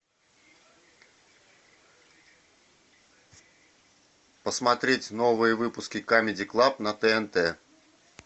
посмотреть новые выпуски камеди клаб на тнт